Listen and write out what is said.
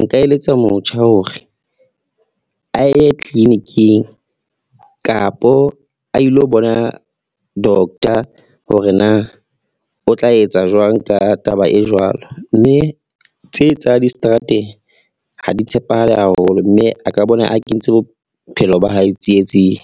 nka eletsa motjha hore a ye clinic-ing kapa a ilo bona doctor, hore na o tla etsa jwang ka taba e jwalo mme tse tsa distrateng ha di tshepahale haholo mme a ka bona a kentse bophelo ba hae tsietsing.